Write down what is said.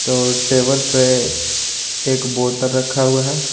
तो टेबल पे एक बोतल रखा हुआ है।